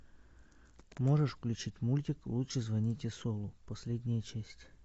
можешь включить мультик лучше звоните солу последняя часть